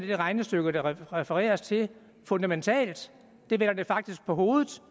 det regnestykke der refereres til fundamentalt det vender det faktisk på hovedet